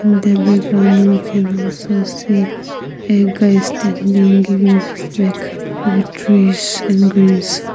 In the background we can also see a guy standing giving his back with trees and greens.